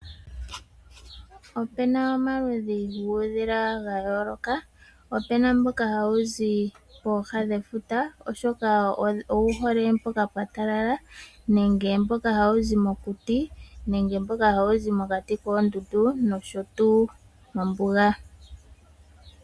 Opena omaludhi guudhila ga yooloka. Ope na mboka hawu zi pooha dhefuta oshoka owu hole mpoka pwa talala, nenge mboka hawu zi mokuti, nenge mboka hawu zi mokati koondundu noshotuu mombuga.